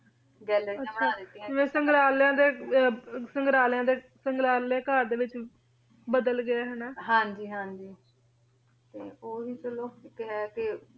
ਗਾਲ੍ਲੇਰਿਯਾਂ ਆਹ ਬਣਾ ਦਿਤਿਯਾਂ ਜਿਵੇਂ ਸੰਗ੍ਰਾਲ੍ਯਾਂ ਦੇ ਸੰਗ੍ਰਾਲ੍ਯ ਘਰ ਦੇ ਵਿਚ ਬਦਲ ਗਯਾ ਆਯ ਹਾਂਜੀ ਹਾਂਜੀ ਤੇ ਊ ਵੀ ਚਲੋ ਆਯ ਹੈ ਕੇ ਕੇ ਹੈ ਕੇ